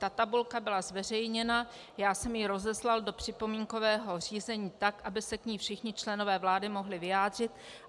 Ta tabulka byla zveřejněna, já jsem ji rozeslal do připomínkového řízení, tak aby se k ní všichni členové vlády mohli vyjádřit.